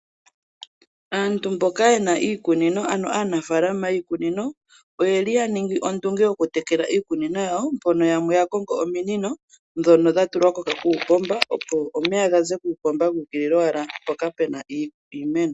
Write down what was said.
Aantu mboka yena oofaalama nenge aanafaalama yiikunino oyeli yaningingi ondunge yokutekela iikunino mbono yakongo ominino ndhono dhatulwa kuupomba, opo omeya gaze kuupomba guu ukulila mpoka puna iimeno.